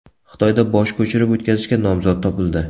Xitoyda bosh ko‘chirib o‘tkazishga nomzod topildi.